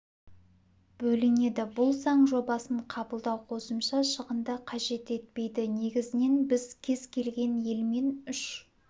бөлінеді бұл заң жобасын қабылдау қосымша шығынды қажет етпейді негізінен біз кез келген елмен үш